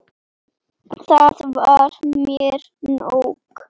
Það var mér nóg.